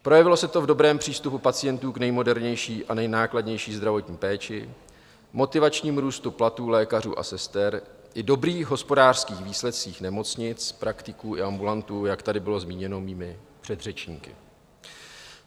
Projevilo se to v dobrém přístupu pacientů k nejmodernější a nejnákladnější zdravotní péči, motivačním růstu platů lékařů a sester i dobrých hospodářských výsledcích nemocnic, praktiků i ambulantů, jak tady bylo zmíněno mými předřečníky.